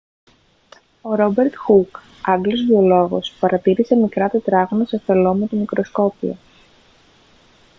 ο ρόμπερτ χουκ άγγλος βιολόγος παρατήρησε μικρά τετράγωνα σε φελλό με το μικροσκόπιο